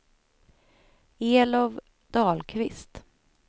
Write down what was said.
Elof Dahlqvist